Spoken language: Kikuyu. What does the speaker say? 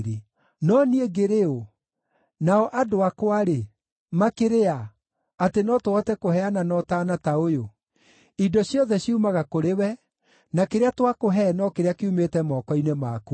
“No niĩ ngĩrĩ ũ, nao andũ akwa-rĩ, makĩrĩ a, atĩ no tũhote kũheana na ũtaana ta ũyũ? Indo ciothe ciumaga kũrĩ we, na kĩrĩa twakũhe no kĩrĩa kiumĩte moko-inĩ maku.